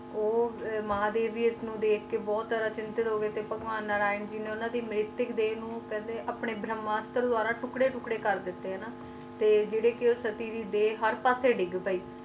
ਤੇ ਉਹ ਮਹਾਦੇਵ ਨੂੰ ਵੇਖ ਕ ਬਾਰੇ ਅਚੰਤਿਨਟਿਕ ਹੋ ਗਏ ਨਾ ਤੇ ਭਗਵਾਨ ਨਾਰਾਇਣ ਜੀ ਨੇ ਉਨ੍ਹਾਂ ਦੀ ਮਿਰਿਟੀਕ ਦੇਰ ਨੂੰ ਆਪਣੇ ਭਰਮ ਮਾਸਟ ਦੁਵਾਰਾ ਟੁਕੜੇ ਟੁਕੜੇ ਕਰ ਕ ਤੇ ਜੈਰੇ ਸਤੀ ਤੇ ਹਰ ਪਾਸੇ ਡਿਗ ਪਾਏ